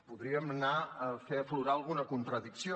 podríem anar a fer aflorar alguna contradicció